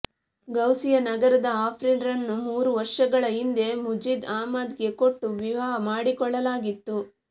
ಗೌಸಿಯಾನಗರದ ಆಫ್ರೀನ್ ರನ್ನು ಮೂರೂ ವರ್ಷಗಳ ಹಿಂದೆ ಮುಜೀದ್ ಅಹ್ಮದ್ ಗೆ ಕೊಟ್ಟು ವಿವಾಹ ಮಾಡಿಕೊಡಲಾಗಿತ್ತು